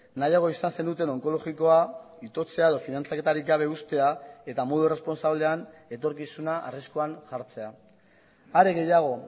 nahiago izan zenuten onkologikoa itotzea edo finantzaketarik gabe uztea eta modu irresponsablean etorkizuna arriskuan jartzea are gehiago